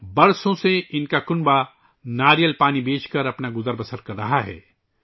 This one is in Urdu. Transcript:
برسوں سے ان کا خاندان ناریل پانی بیچ کر روزی کما رہا ہے